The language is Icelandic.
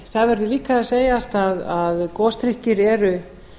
það verður líka að segja að gosdrykkir eru